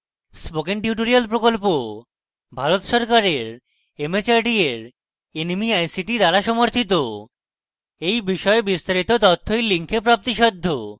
spoken tutorial project Bharat সরকারের mhrd এর nmeict দ্বারা সমর্থিত এই বিষয়ে বিস্তারিত তথ্য এই link প্রাপ্তিসাধ্য